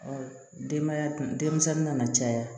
denbaya dun denmisɛnnin nana caya